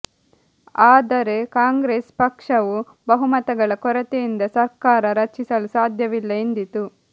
ಆದರೆ ಕಾಂಗ್ರೆಸ್ ಪಕ್ಷವು ಬಹುಮತಗಳ ಕೊರತೆಯಿಂದ ಸರ್ಕಾರ ರಚಿಸಲು ಸಾಧ್ಯವಿಲ್ಲ ಎಂದಿತು